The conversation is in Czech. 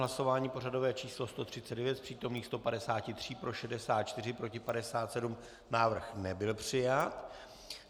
Hlasování pořadové číslo 139, z přítomných 153 pro 64, proti 57, návrh nebyl přijat.